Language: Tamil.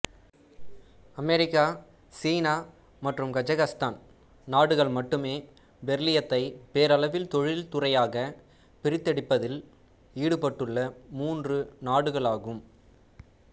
அமெரிக்கா சீனா மற்றும் கஜகசுத்தான் நாடுகள் மட்டுமே பெரிலியத்தை பேரளவில் தொழில்துறையாக பிரித்தெடுப்பதில் ஈடுபட்டுள்ள மூன்று நாடுகளாகும்